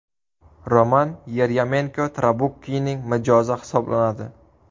Roman Yeryomenko Trabukkining mijozi hisoblanadi.